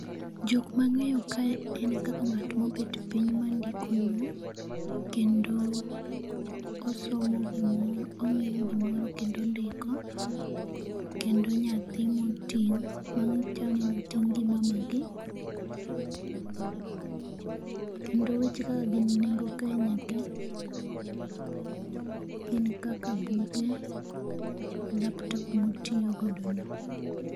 Jokmang'eyo ka en kaka ng'at mobet piny ma ndiko no, kendo osomo gimoro ong'iyo gimoro kendo ondiko. Kendo nyathi moting' ma chalni oting' gi mama gi. Kendo weche kaka gin nengo Kenya ka, gin kaka buge, laptop moyiyo godo no.